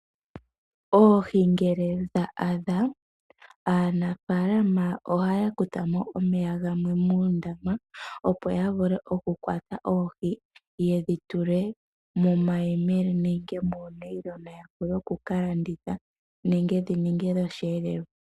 Oohi ngele dha adha aanafalama ohaya kuthamo omeya gamwe moondama opo ya vule oku kwata oohi yedhi tule momayemele nenge monayilona ya vule okuka landitha nenge dhi ninge dhoshelelwa.